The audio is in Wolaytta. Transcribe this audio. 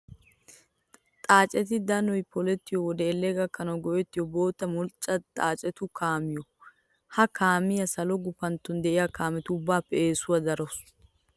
Xaaceti danoyi polettiyoo wode elle gakkanawu ge'ettiyoo bootta mulxxa xaacetu kaamiyoo. Ha kaamiyaa salo gupantton diyaa kaametu ubbaappe eesuwan darawusu.